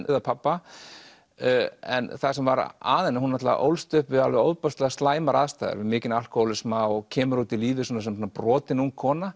dauða pabba en það sem var að henni að hún náttúrulega ólst upp við alveg ofboðslega slæmar aðstæður við mikinn alkóhólisma og kemur út í lífið sem brotin ung kona